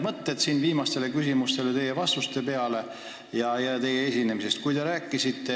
Mul tekkisid viimastele küsimustele vastuseid ja teie esinemist kuulates mõned mõtted.